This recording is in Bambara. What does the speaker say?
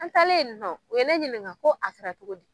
An talen in nɔ u ye ne ɲininka ko a kɛrɛ cogo di.